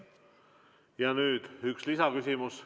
Nüüd üks lisaküsimus.